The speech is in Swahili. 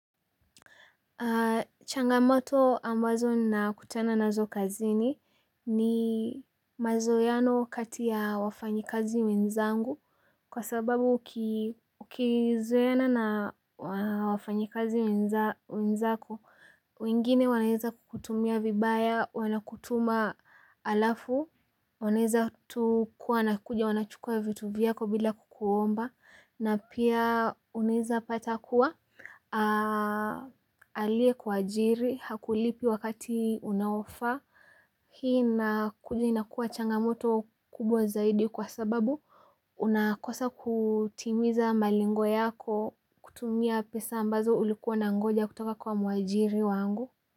Changamoto ambazo nakutana nazo kazini ni mazoeano kati ya wafanyikazi wenzangu kwa sababu ukizoeana na wafanyikazi wenzako, wengine wanaweza kukutumia vibaya, wanakutuma alafu, wanaweza tu kuwa wanakuja wanachukua vitu vyako bila kukuomba, na pia unaweza pata kuwa, aliyekuajiri hakulipi wakati unaofaa, hii inakuja inakuwa changamoto kubwa zaidi kwa sababu unakosa kutimiza malengo yako kutumia pesa ambazo ulikuwa unangoja kutoka kwa mwajiri wangu.